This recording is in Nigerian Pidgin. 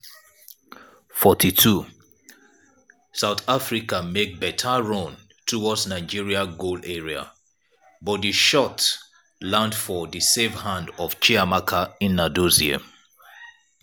42' south africa make beta run towards nigeria goal area but di shot land for di safe hands of chiamaka nnadozie.